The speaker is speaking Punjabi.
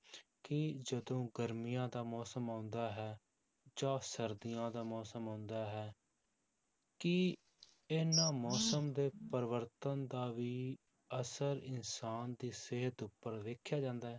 ਕੀ ਜਦੋਂ ਗਰਮੀਆਂ ਦਾ ਮੌਸਮ ਆਉਂਦਾ ਹੈ, ਜਾਂ ਸਰਦੀਆਂ ਦਾ ਮੌਸਮ ਆਉਂਦਾ ਹੈ ਕੀ ਇਹਨਾਂ ਮੌਸਮ ਦੇ ਪਰਿਵਰਤਨ ਦਾ ਵੀ ਅਸਰ ਇਨਸਾਨ ਦੀ ਸਿਹਤ ਉੱਪਰ ਵੇਖਿਆ ਜਾਂਦਾ ਹੈ?